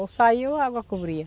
Ou saiu, ou a água cobria.